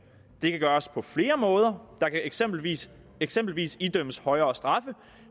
det kan gøres på flere måder der kan eksempelvis eksempelvis idømmes højere straffe